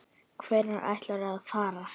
Hvenær ætlarðu að fara?